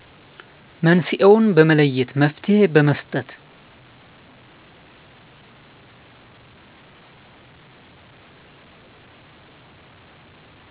መንስኤዉን በመለየት መፍትሄ በመስጠት።